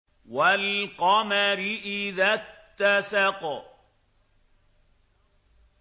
وَالْقَمَرِ إِذَا اتَّسَقَ